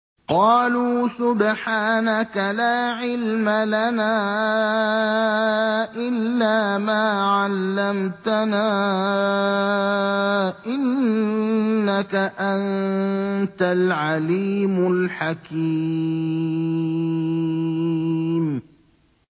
قَالُوا سُبْحَانَكَ لَا عِلْمَ لَنَا إِلَّا مَا عَلَّمْتَنَا ۖ إِنَّكَ أَنتَ الْعَلِيمُ الْحَكِيمُ